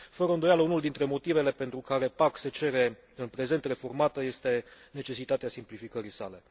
Fără îndoială, unul dintre motivele pentru care PAC se cere în prezent reformată este necesitatea simplificării sale.